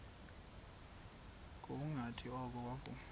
ngokungathi oko wavuma